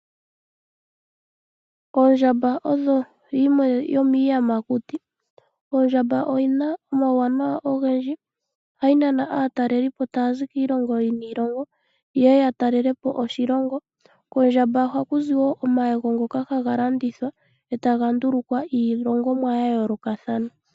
Ondjamba oyo yimwe yomiiyamakuti. Ondjamba oyi na omauwanawa ogendji, ohayi nana aatalelipo taya zi kiilongo niilongo ye ye ya talelepo oshilongo. Kondjamba oha ku zi wo omayego ngoka ha ga landithwa e ta ga ndulukwa iihongomwa ya yoolokathana.